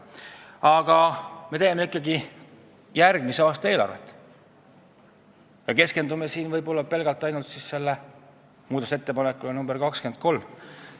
Aga me teeme ikkagi järgmise aasta eelarvet ja pole õige keskenduda ainult muudatusettepanekule nr 23.